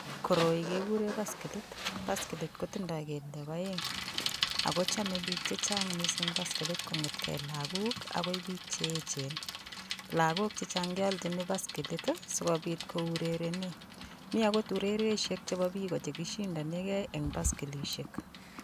Koroi kekure baskilit. Baskilit kotindoi kelyek oeng akochome biik chechang mising baskilit kong'etke lagok akoi biik cheechen. Lagok chechang kealchiin baskilit asikobit kourerenee, mi akot urereshek chebo biiko chekishindonekei eng baskilishek.